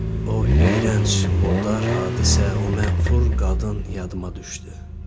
o iyrənc, murdar hadisə, o mənfur qadın yadıma düşdü.